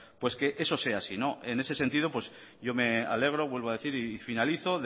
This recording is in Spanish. pues que eso sea sí en ese sentido yo me alegro vuelvo a decir y finalizo